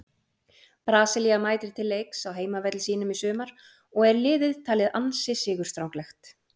Brasilía mætir til leiks á heimavelli sínum í sumar og er liðið talið ansi sigurstranglegt.